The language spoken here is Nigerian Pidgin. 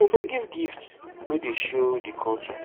you fit give gift wey dey show di culture